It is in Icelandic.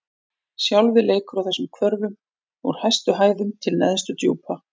Sjálfið leikur á þessum hvörfum: úr hæstu hæðum til neðstu djúpa.